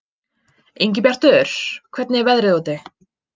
Ingibjartur, hvernig er veðrið úti?